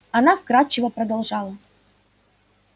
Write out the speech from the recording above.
она вкрадчиво продолжала